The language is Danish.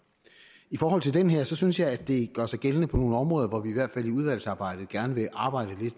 i forhold til den her synes jeg dette gør sig gældende på nogle områder hvor vi i hvert fald i udvalgsarbejdet gerne vil arbejde